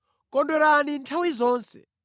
Kondwerani nthawi zonse.